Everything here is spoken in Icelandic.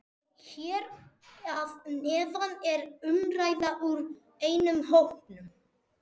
Hér að neðan er umræða úr einum hópnum